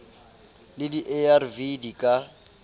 le di arv di ka